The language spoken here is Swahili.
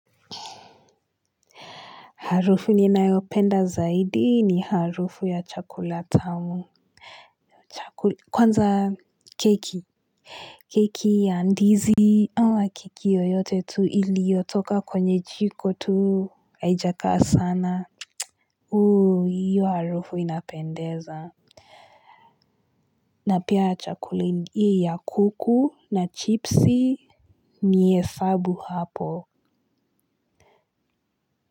Harufu ninayopenda zaidi ni harufu ya chakula tamu. Kwanza keki, keki ya ndizi ama keki yoyote tu iliyotoka kwenye jiko tu haijakaa sana, hiyo harufu inapendeza. Na pia ya chakula hii ya kuku na chipsi. Ni hesabu hapo.